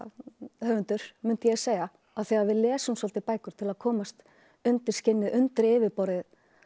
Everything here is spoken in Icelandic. höfundur mundi ég segja af því að við lesum svolítið bækur til að komast undir skinnið undir yfirborðið